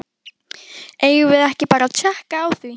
Eigum við ekki bara að tékka á því?